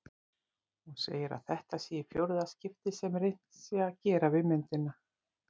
Hún segir að þetta sé í fjórða skipti sem reynt sé að gera við myndina.